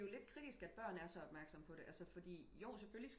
Og der er jo lidt kritisk at børn er så opmærksomme på altså fordi jo